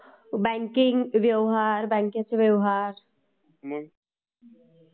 banking व्यवहार, बॅंकेचे व्यवहार...